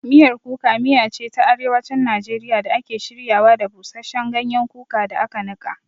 Miyar Kuka miya ce ta Arewacin Najeriya da ake shiryawa da busasshen ganyen kuka da aka nika.